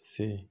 Se